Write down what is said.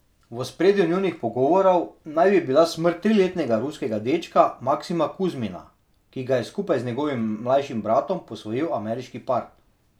V ospredju njunih pogovorov naj bi bila smrt triletnega ruskega dečka Maksima Kuzmina, ki ga je skupaj z njegovim mlajšim bratom posvojil ameriški par.